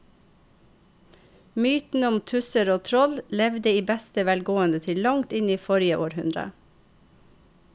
Mytene om tusser og troll levde i beste velgående til langt inn i forrige århundre.